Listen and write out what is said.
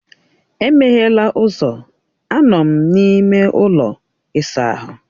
Emeghela ụzọ, anọ m n’ime ụlọ ịsa ahụ.